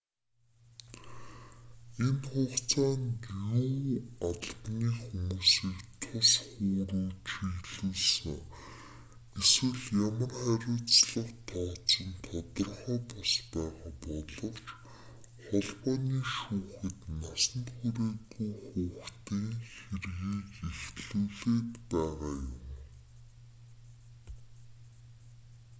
энэ хугацаанд юу албаны хүмүүсийг тус хүү рүү чиглүүлсэн эсвэл ямар хариуцлага тооцох нь тодорхой бус байгаа боловч холбооны шүүхэд насанд хүрээгүй хүүхдийн хэргийг эхлүүлээд байгаа юм